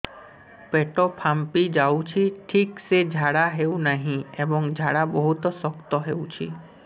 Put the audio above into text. ପେଟ ଫାମ୍ପି ଯାଉଛି ଠିକ ସେ ଝାଡା ହେଉନାହିଁ ଏବଂ ଝାଡା ବହୁତ ଶକ୍ତ ହେଉଛି